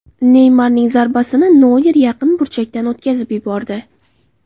Neymarning zarbasini Noyer yaqin burchakdan o‘tkazib yubordi.